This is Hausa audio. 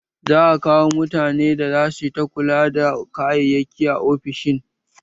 Za a zaɓi mutane da za su ta kula da kayayyaki a ofishin